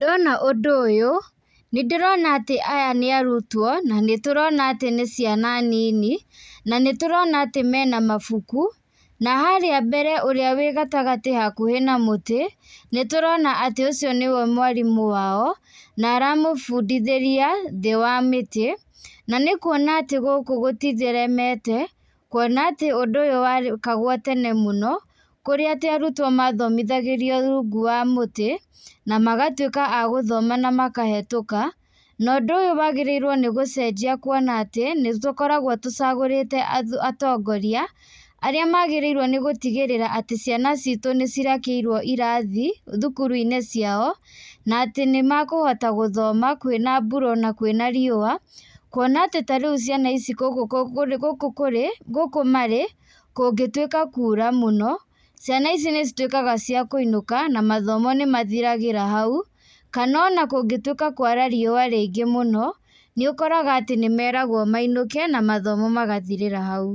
Ndona ũndũ ũyũ nĩ ndĩrona atĩ aya nĩ arutwo na nĩtũrona atĩ nĩ ciana nini, na nĩturona atĩ mena mabuku. Na harĩa mbere ũrĩa wĩ gatagatĩ hakuhĩ na mũtĩ nĩtũrona atĩ ũcio nĩwe mwarimũ wao na aramũbundithĩria thĩ wa mĩtĩ. Na nĩ kuona atĩ gũkũ gũtitheremete, kuona atĩ ũndũ ũyũ wekagwo tene mũno kũrĩa atĩ arutwo mathomithagĩrio rungu wa mũtĩ, na magatuĩka a gũthoma na makahĩtũka. Na ũndũ ũyũ wagĩrĩirũo nĩ gũcenjia kuona atĩ nĩ tũkoragwo tũcagũrĩte atongoria arĩa magĩrĩirũo nĩ gũtigĩrĩra atĩ ciana citũ nĩ cirakĩirũo irathi thukuru-inĩ ciao na atĩ nĩ mekũhota gũthoma kwĩna mbura ona kwĩna riũa. Kuona atĩ ta rĩu ciana ici gũkũ marĩ kũngĩtuĩka kura mũno, ciana ici nĩ cituĩkaga cia kũinũka na mathomo nĩ mathiragĩra hau. Kana ona kũngĩtuĩka kũara riũa rĩingĩ mũno nĩ ũkoraga nĩ meragũo mainũke na mathomo magathirĩra hau.